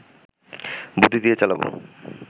বুদ্ধি দিয়ে চালাবো